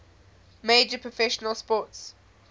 major professional sports